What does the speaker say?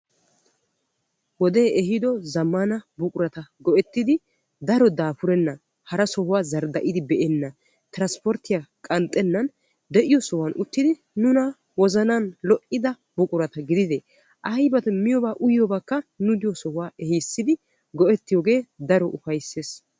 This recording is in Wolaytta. wode ehido zammana buqurata go''ettidi daro daafurennan hara sohuwaa zardda'idi beenan transpporttiya qanxxennan de'iyo sohuwan uttidi nuna wozzanan lo''idia buqurata gidide aybba miyoobba uyyiyoobakka nu diyo sohuwaa ehiissidi go''ettiyooge daro ufayssees.